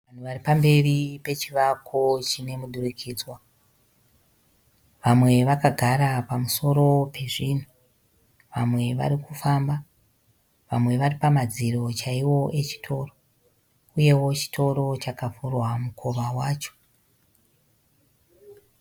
Vanhu vari pamberi pechivako chine mudurikidzwa. Vamwe vakagara pamusoro pezvinhu, Vamwe vari kufamba. Vamwe vari pamadziro chaiwo echitoro. Uyewo chitoro chakavhurwa mukova wacho.